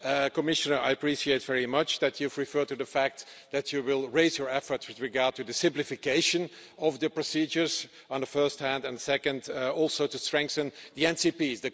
Commissioner, I appreciate very much that you have referred to the fact that you will raise your efforts with regard to the simplification of the procedures on the one hand and secondly, also to strengthen the NCPs